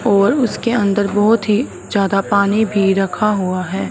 और उसके अंदर बहोत ही ज्यादा पानी भी रखा हुआ है।